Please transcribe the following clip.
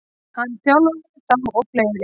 Hann þjálfaði þá og fleiri.